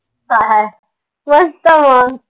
काय मस्त मंग